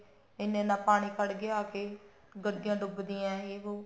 ਇੰਨਾ ਇੰਨਾ ਪਾਣੀ ਆ ਖੜ ਗਿਆ ਆ ਕੇ ਗੱਡੀਆਂ ਡੁੱਬ ਦੀਆਂ ਯੇ ਵੋ